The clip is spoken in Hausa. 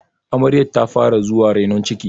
amaryar ta fara zuwa renon ciki?